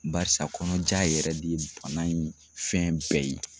Barisa kɔnɔja yɛrɛ de ye bana in fɛn bɛɛ ye.